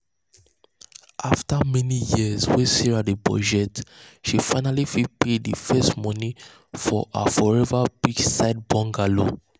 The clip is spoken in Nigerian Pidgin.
after many years wey sarah dey budget she finally fit pay the first money for her forever beachside bungalow.